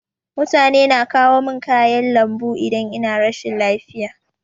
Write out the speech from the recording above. Mutane na kawo min kayan lambu idan ina rashin lafiya.